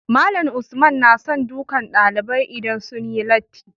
Malam Usman nason dukan ɗalibai idan sunyi latti